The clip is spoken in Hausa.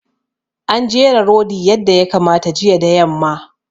An jera rodi yadda ya kamata jiya da yamma.